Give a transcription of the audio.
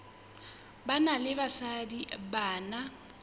banna le basadi ba na